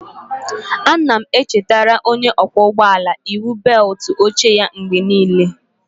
Ana m echetara onye ọkwọ ụgbọ ala iwu bewutu oche ya mgbe n'ile